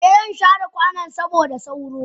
Eh zan share kwanan saboda sauro.